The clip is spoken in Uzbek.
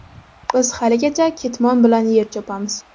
Biz haligacha ketmon bilan yer chopamiz.